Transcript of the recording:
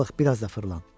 Balıq biraz da fırlan.